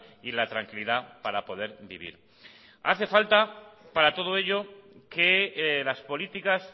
y la tranquilidad para poder vivir hace falta para todo ello que las políticas